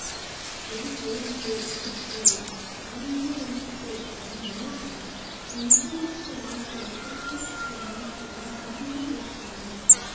यः अयं योगः त्वया साम्येन प्रोक्तः मनसः चञ्चलत्वात् एतस्य स्थिरां स्थितिं अहं न पश्यामि